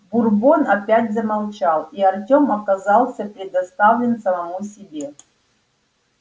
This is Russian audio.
бурбон опять замолчал и артем оказался предоставлен самому себе